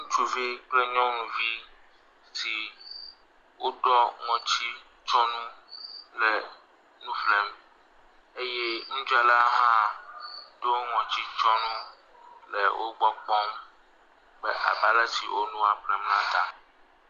Ŋutsuvi kple nyɔnuvi si woɖɔ ŋɔtitsyɔnu le nu ƒlem eye nudzrala hã le wo gbɔ kpɔm abe alesi wo nua ƒlem la ta.